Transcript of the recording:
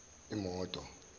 imoto